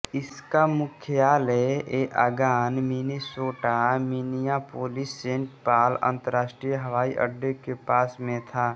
इसका मुख्यालय एआगान मिनेसोटा मिनियापोलिस सेंट पॉल अंतरराष्ट्रीय हवाई अड्डे के पास में था